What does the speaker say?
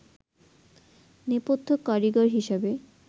নেপথ্য কারিগর হিসেবে